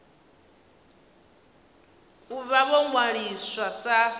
u vha vho ṅwaliswa sa